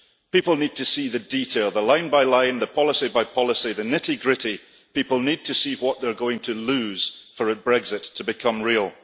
People need to see the detail, the line-by-line, the policy-by-policy, the nitty-gritty. People need to see what they're going to lose for a Brexit to become real.